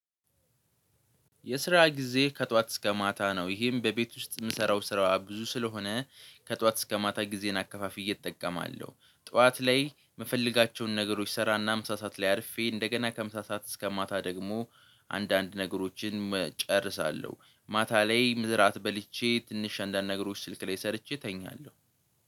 የስራ ጊዜ ከጧት እስከ ማታ ነው። ይሄም በቤት ውስጥ የምሰራው ስራ ብዙ ስለሆነ ከጧት እስከ ማታ ጊዜን አከፋፍዬ እጠቀማለሁ። ጧዋት ላይ ምፈለጋቸውን ነገሮች ሰራና ምሳ ሰዓት ላይ አርፌ እንደገና ከምሳ ሰዓት እስከ ማታ ደግሞ አንዳንድ ነገሮችን እጨርሳለሁ። ማታ ላይ ምግብ እራት በልቼ ትንሽ አንዳንድ ነገሮች ስልክ ላይ ሰርቼ እተኛለሁ